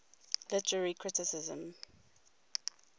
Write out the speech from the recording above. literary criticism